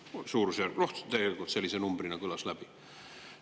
Noh, suurusjärgus selline number käis läbi.